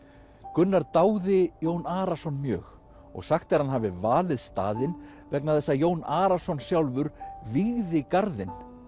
Gunnar dáði Jón Arason mjög og sagt er að hann hafi valið staðinn vegna þess að Jón Arason sjálfur vígði garðinn